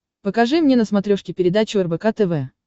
покажи мне на смотрешке передачу рбк тв